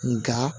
Nga